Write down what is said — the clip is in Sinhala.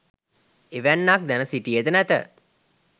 එවැන්නක් දැන සිටියේ ද නැත.